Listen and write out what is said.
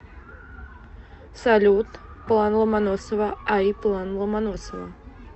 салют план ломоносова ай план ломоносова